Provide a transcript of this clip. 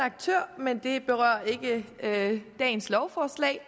aktør men det berører ikke dagens lovforslag